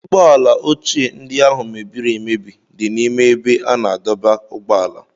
Ee, ụgbọala ochie ndị áhù mebiri emebi dị n'ime ébé a na-adọba ụgbọala